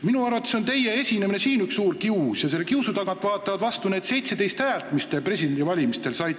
Minu arvates on teie esinemine siin üks suur kius ja selle kiusu tagant vaatavad vastu need 17 häält, mis te presidendivalimistel saite.